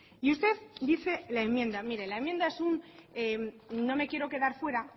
y usted dice la enmienda mire la enmienda es un no me quiero quedar fuera